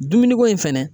Dumuni ko in fɛnɛ